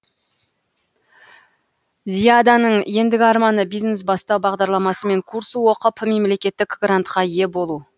зияданың ендігі арманы бизнес бастау бағдарламасымен курс оқып мемлекеттік грантқа ие болу